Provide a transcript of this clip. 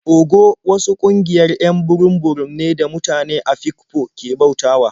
Ogo wasu ƙungiayr 'yan burum-burum ne da mutane Afikpo ke bautawa.